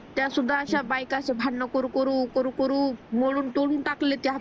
त्यासुद्धा अश्या बाईकाच भांडण करू करू करू करू मोडून तोडून टाकले